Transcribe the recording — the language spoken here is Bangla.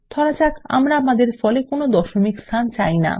ধরা যাক আমরা আমাদের ফলে কোনো দশমিক স্থান চাই না